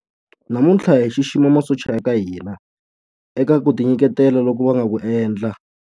Namuntlha hi xixima masocha ya ka hina eka ku tinyiketela loku va nga ku endla.